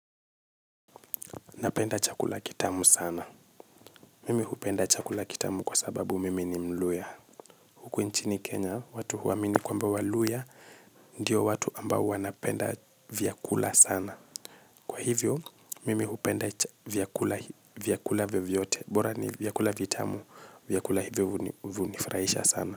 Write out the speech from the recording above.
Napenda chakula kitamu sana. Mimi hupenda chakula kitamu kwa sababu mimi ni mluya. Huku nchini Kenya, watu huamini kwa mba waluhya, ndio watu ambao wanapenda vyakula sana. Kwa hivyo, mimi hupenda vyakula vyovyote. Bora ni vyakula vitamu, vyakula hivyo huvunifraisha sana.